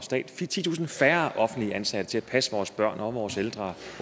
og stat titusind færre offentligt ansatte til at passe vores børn og vores ældre